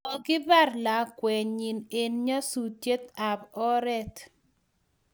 Kokibar lakwennyi eng nyasutiet ab oret